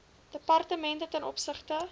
departemente ten opsigte